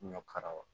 Ɲɔ karaw